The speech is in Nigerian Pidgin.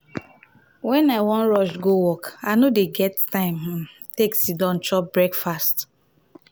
wen i wan rush go work i no dey get time um to um siddon chop breakfast.